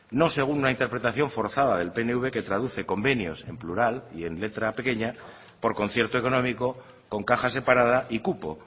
no según una interpretación forzada del pnv que traduce convenios en plural y letra pequeña por concierto económico con caja separada y cupo